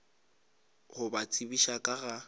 go ba tsebiša ka ga